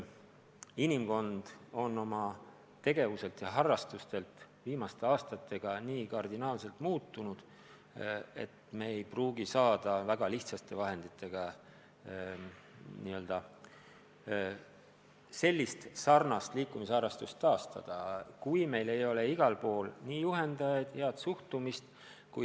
Inimkond on oma tegevustelt ja harrastustelt viimaste aastatega nii kardinaalselt muutunud, et me ei pruugi saada väga lihtsate vahenditega kunagist liikumisharrastust taastada, eriti kui meil ei ole igal pool häid juhendajaid, head suhtumist.